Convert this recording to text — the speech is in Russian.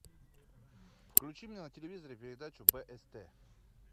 включи мне на телевизоре передачу бст